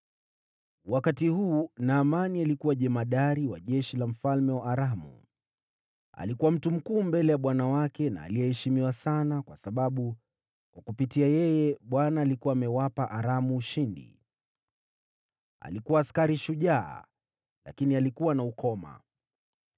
Wakati huu, Naamani alikuwa jemadari wa jeshi la mfalme wa Aramu. Alikuwa mtu mkuu mbele ya bwana wake na aliyeheshimiwa sana, kwa sababu kupitia kwake, Bwana alikuwa amewapa Aramu ushindi. Alikuwa askari shujaa, lakini alikuwa na ukoma.